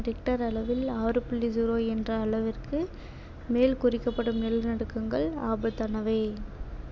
richter அளவில் ஆறு புள்ளி zero என்ற அளவிற்கு மேல் குறிக்கப்படும் நிலநடுக்கங்கள் ஆபத்தானவை